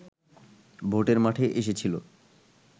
ভোটের মাঠে এসেছিলো